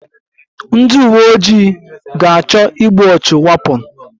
Ndị uwe ojii ga-achọ igbu ọchụ wapon